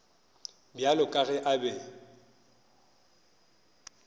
bjalo ka ge a be